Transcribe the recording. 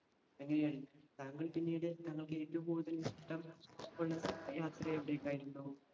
അങ്ങിനെയാണ്. താങ്കൾ പിന്നീട് താങ്കൾക്ക് ഏറ്റവും കൂടുതൽ ഇഷ്ടം യാത്ര എവിടെക്കായിരുന്നു?